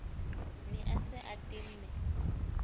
ne a se a tenne